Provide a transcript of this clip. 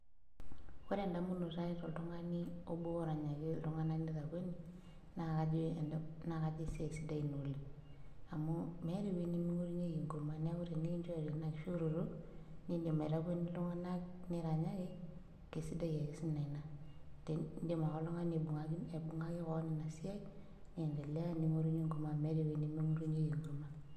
Ore endamunotoi toltung'ani oranyaki iltung'anak nitakueni naa kajo kesiai ina sidai oleng', amu meeta eweji niming'orunyieki enkurma neeku tikichore ina nibung'aki iyie kewon amu meeta eweji nimingorunyieki enkurma.